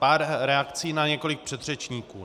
Pár reakcí na několik předřečníků.